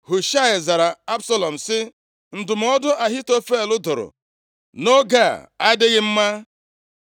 Hushaị zara Absalọm sị, “Ndụmọdụ Ahitofel dụrụ nʼoge a adịghị mma.